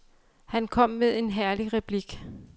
Han kom med en herlig replik.